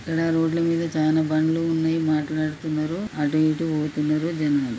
ఇక్కడ రోడ్ ల మీద చాలా బండ్లు ఉన్నాయి మాట్లాడుతున్నారు అటు ఇటు పోతున్నారు జనాలు.